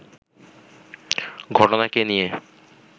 ঘটনাকে নিয়ে